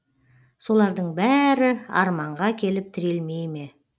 солардың бәрі арманға келіп тірелмей ме